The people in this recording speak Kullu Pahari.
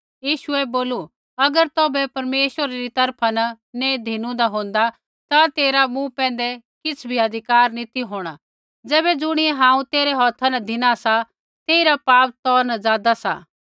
यीशुऐ बोलू अगर तौभै परमेश्वरा री तरफा न नैंई धिनु होन्दा ता तेरा मूँ पैंधै किछ़ भी अधिकार नैंई ती होंणा तैबै ज़ुणियै हांऊँ तेरै हौथा न धिना सा तेइरा पाप तौ न ज़ादा सा